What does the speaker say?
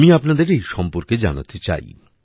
আমি আপনাদের এই সম্পর্কে জানাতে চাই